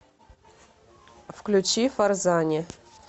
включи фарзани